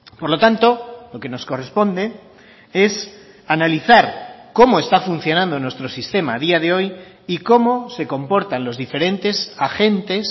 por lo tanto lo que nos corresponde es analizar cómo está funcionando nuestro sistema a día de hoy y cómo se comportan los diferentes agentes